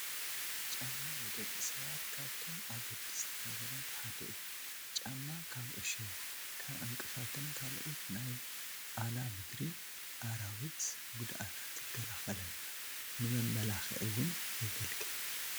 ጫማ ንደቂ ሰባት ካብቶም ኣገደስቲ ነገራት ሓደ እዩ፡፡ ጫማ ካብ ዕሾኽ፣ ካብ ዕንቅፋትን ካልኦት ናይ ኣና ምድሪ ኣራዊት ጉድኣታት ይከላኸለልና፡፡ ንመመላኽዒ ውን የገልግል፡፡